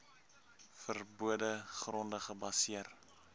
verbode gronde gebaseer